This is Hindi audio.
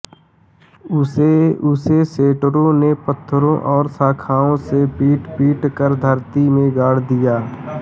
उसे सेंटूरों ने पत्थरों और शाखाओं से पीटपीट कर धरती में गाड़ दिया